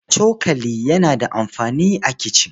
Cokali yana da amfani a kicin.